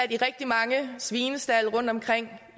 i rigtig mange svinestalde rundtomkring